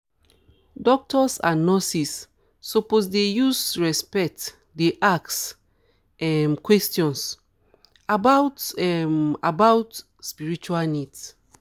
doctors and nurses suppose dey use respect ask dey ask um questions about about spiritual um needs